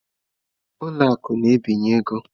Ụlọ akụ na-ebinye ego.